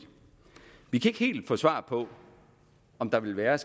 vi kan ikke helt få svar på om der vil være